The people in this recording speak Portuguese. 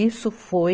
Isso foi